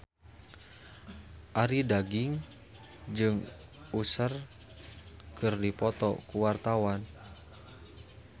Arie Daginks jeung Usher keur dipoto ku wartawan